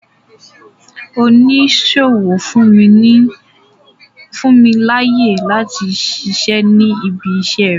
Oníṣòwò fún mi láyè láti ṣiṣẹ́ ní ibi iṣẹ́ rẹ.